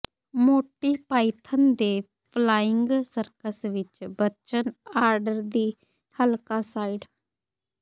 Monty Python ਦੇ Flying Circus ਵਿੱਚ ਬਚਨ ਆਰਡਰ ਦੀ ਹਲਕਾ ਸਾਈਡ